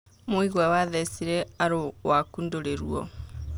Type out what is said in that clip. Mũigua wathecire aru waku ndũrĩ ruo.